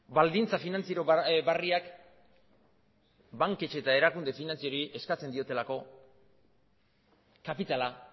baldintza finantziero berriak banketxe eta erakunde finantzieroei eskatzen dietelako kapitala